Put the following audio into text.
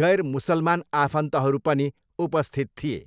गैर मुसलमान आफन्तहरू पनि उपस्थित थिए।